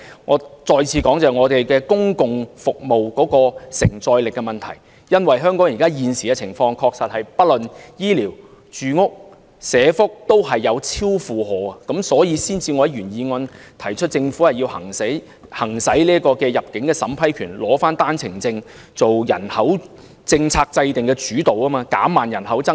我要再次說明公共服務的承載力問題，因為香港現時的情況的確是無論醫療、住屋和社福，均已出現超負荷的情況，所以我才會在原議案提出政府要行使入境審批權，取回單程證制度下制訂人口政策的主導權，藉以減慢人口增長。